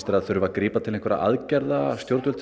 það þurfi að grípa til einhverra aðgerða að stjórnvöld